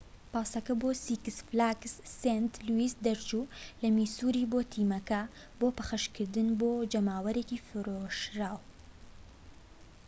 پاسەکە بۆ سیکس فلاگس سەینت لویس دەچوو لە میسوری بۆ تیمەکە بۆ پەخشکردن بۆ جەماوەرێکی فرۆشراو